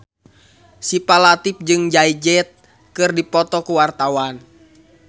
Syifa Latief jeung Jay Z keur dipoto ku wartawan